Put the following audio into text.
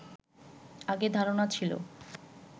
আগে ধারণা ছিল